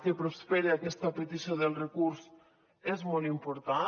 que prospere aquesta petició del recurs és molt important